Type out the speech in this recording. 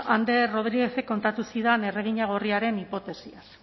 ander rodríguezek kontatu zidan erregina gorriaren hipotesiaz